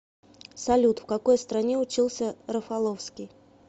салют в какой стране учился рафаловский